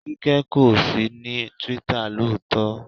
Kíkẹ́ kò sí ní Twitter lóòótọ́.